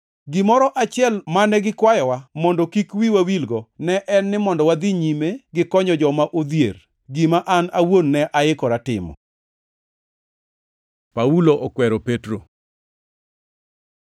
Gimoro achiel mane gikwayowa mondo kik wiwa wilgo ne en ni mondo wadhi nyime gi konyo joma odhier, gima an awuon ne aikora timo. Paulo okwero Petro